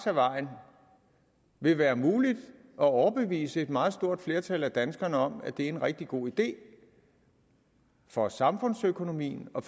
ad vejen vil være muligt at overbevise et meget stort flertal af danskerne om at det er en rigtig god idé for samfundsøkonomien og